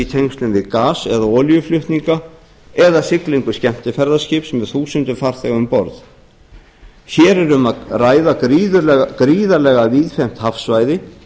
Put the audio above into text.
tengslum við gas eða olíuflutninga eða olíuflutninga eða siglingu skemmtiferðaskips með þúsundir farþega um borð hér er um að ræða gríðarlega víðfeðmt hafsvæði